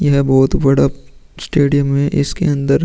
यह बोहोत बड़ा स्टेडियम है। इसके अंदर --